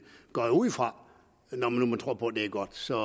går jeg ud fra når nu man tror på det er godt så